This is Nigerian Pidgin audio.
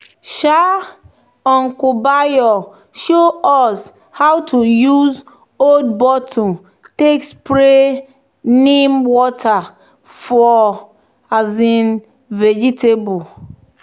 um "uncle bayo show us how to use old bottle take spray neem water for um vegetable."